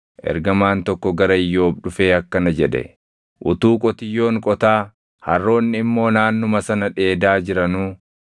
ergamaan tokko gara Iyyoob dhufee akkana jedhe; “Utuu qotiyyoon qotaa, harroonni immoo naannuma sana dheedaa jiranuu,